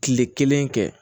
Kile kelen kɛ